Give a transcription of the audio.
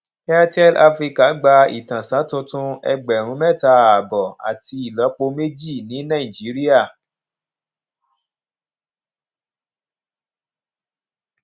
airtel africa gbà itansan tuntun ẹgbèrún méta ààbò àti ìlópo méjì ní nàìjíríà